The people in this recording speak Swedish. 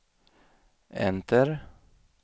enter